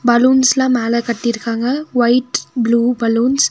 பலூன்ஸ்லா மேல கட்டிருக்காங்க white blue balloons .